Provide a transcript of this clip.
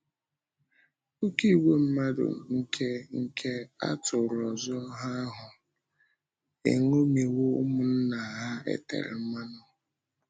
Oké ìgwè mmadụ nke nke atụrụ ọzọ ahụ eṅomiwo ụmụnna ha e tere mmanụ.